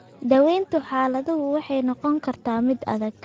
Daaweynta xaaladdu waxay noqon kartaa mid adag.